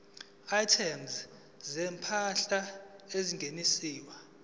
items zezimpahla ezingeniswayo